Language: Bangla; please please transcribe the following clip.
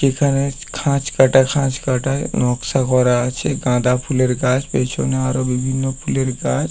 এখানে খাঁজ কাটা খাঁজ কাটা নকশা করা আছে। গাঁদা ফুলের গাছ পেছনে আরো বিভিন্ন ফুলের গাছ।